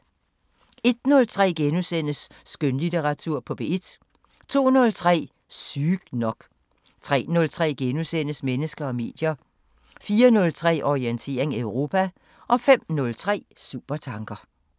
01:03: Skønlitteratur på P1 * 02:03: Sygt nok 03:03: Mennesker og medier * 04:03: Orientering Europa 05:03: Supertanker